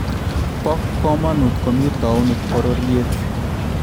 Bo komonut komi towuniit bororyet